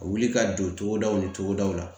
A wuli ka don togodaw ni cogodaw la